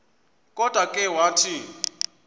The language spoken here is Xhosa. kodwa ke wathi